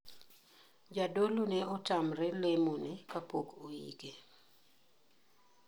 Jadolo ne otamre lemo ne kapok oike.